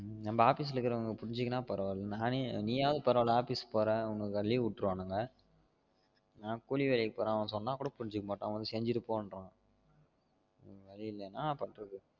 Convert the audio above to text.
நம்ம office ல இருக்குறவங்க புரிஞ்சிகினா பரவாயில்ல நானே நீயாவது பரவாயில்ல office போற உனக்கு leave உட்டுருவானுங்க நான் கூலி வேலைக்கு போறன் அவன் சொன்னா கூட புரிஞ்சிக்க மாட்டான் வந்து செஞ்சிட்டுபோருவான் வேற வலி இல்லை என்னா பண்றது